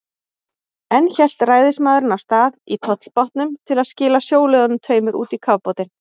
Enn hélt ræðismaðurinn af stað í tollbátnum til að skila sjóliðunum tveimur út í kafbátinn.